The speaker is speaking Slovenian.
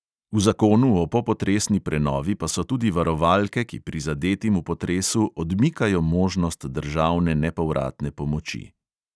V zakonu o popotresni prenovi pa so tudi varovalke, ki prizadetim v potresu odmikajo možnost državne nepovratne pomoči.